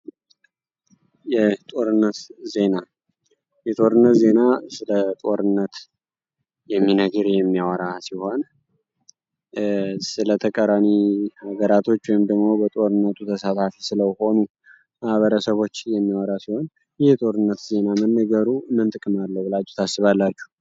የጦርነት ዜና የጦርነት ዜና ስለ ጦርነት የሚነግር የሚያወራ ሲሆን ስለተቃራኒ ነገራቶች ወይም ደግሞ ስለ ጦርነቱ ሲሳተፉ ስለነበሩ ማህበረሰቦች የሚያወራ ሲሆን ይህ የጦርነት ዜና መነገሩ ምን ጥቅም አለው ብላችሁ ታስባላችሁ?